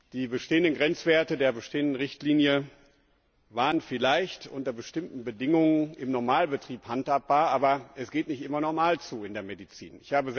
Die bestehenden Grenzwerte der geltenden Richtlinie waren vielleicht unter bestimmten Bedingungen im Normalbetrieb handhabbar, aber es geht nicht immer normal zu in der Medizin.